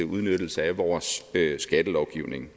udnyttelse af vores skattelovgivning